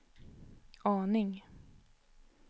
aning